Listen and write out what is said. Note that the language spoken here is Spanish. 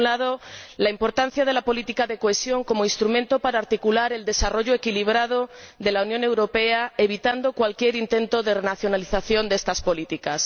Por un lado, la importancia de la política de cohesión como instrumento para articular el desarrollo equilibrado de la Unión Europea, evitando cualquier intento de renacionalización de estas políticas.